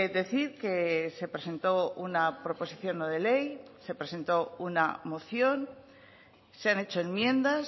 decir que se presentó una proposición no de ley se presentó una moción se han hecho enmiendas